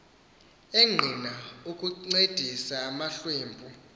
enqila ukuncedisa amahlwempu